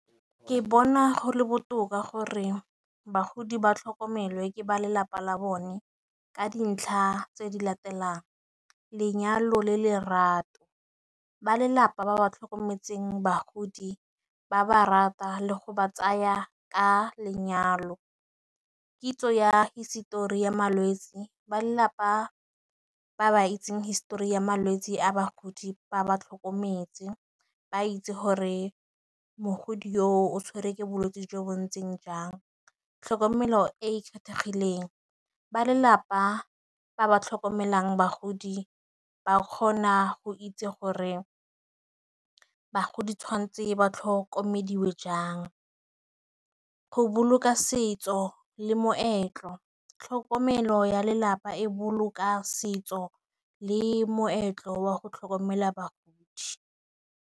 Ke bona go le botoka gore bagodi ba tlhokomelwe ke ba lelapa la bone. Ka dintlha tse di latelang, lenyalo le lerato, ba lelapa ba ba tlhokometseng bagodi ba ba rata le go ba tsaya ka lenyalo. Kitso ya hisetori ya malwetse ba lelapa ba ba itseng histori ya malwetse, a bagodi ba ba tlhokometse. Ba itse gore mogodi yo o tshwere ke bolwetse jo bo ntseng jang. Tlhokomelo e e kgethegileng ba lelapa ba ba tlhokomelang bagodi, ba kgona go itse gore bagodi tshwanetse ba tlhokomediwe jang, go boloka setso le moetlo, tlhokomelo ya lelapa e boloka setso le moetlo wa go tlhokomela bagodi.